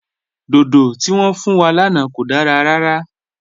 Dòdò tí wọn fún wa lánà kò dára rárà.